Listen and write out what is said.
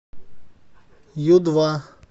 ю два